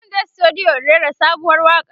zanje studio in rera sabuwar waƙa